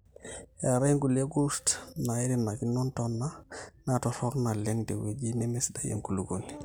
eetai inkulie kurt naairinakino intona naatorrok naleng tewueji nemesidai enkulukuoni